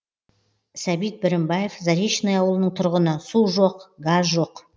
сәбит бірімбаев заречный ауылының тұрғыны су жоқ газ жоқ